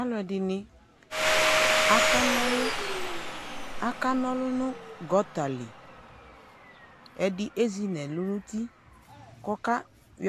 Alʋɛdini akanɔlʋ Akanɔlʋ nʋ gɔta li Ɛdi ezi nʋ ɛlʋ nʋti kɔkayɔ